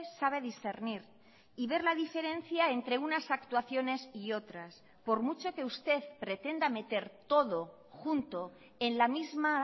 sabe discernir y ver la diferencia entre unas actuaciones y otras por mucho que usted pretenda meter todo junto en la misma